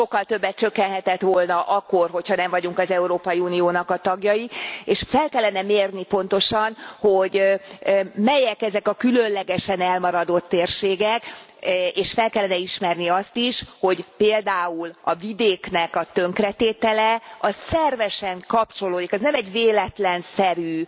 Sokkal többet csökkenhetett volna akkor, hogy ha nem vagyunk az Európai Uniónak a tagjai, és fel kellene mérni pontosan, hogy melyek ezek a különlegesen elmaradott térségek, és fel kellene ismerni azt is, hogy például a vidéknek a tönkretétele az szervesen kapcsolódik, az nem egy véletlenszerű